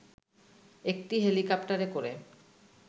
একটি হেলিকপ্টারে করে